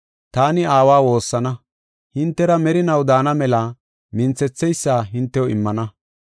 Taani Aawa woossana; hintera merinaw daana mela minthetheysa hintew immana.